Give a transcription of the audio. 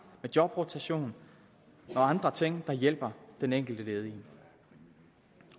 jobrotation og andre ting der hjælper den enkelte ledige